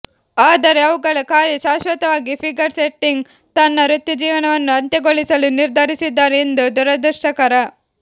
ಆದರೆ ಅವುಗಳ ಕಾರ್ಯ ಶಾಶ್ವತವಾಗಿ ಫಿಗರ್ ಸ್ಕೇಟಿಂಗ್ ತನ್ನ ವೃತ್ತಿಜೀವನವನ್ನು ಅಂತ್ಯಗೊಳಿಸಲು ನಿರ್ಧರಿಸಿದ್ದಾರೆ ಎಷ್ಟು ದುರದೃಷ್ಟಕರ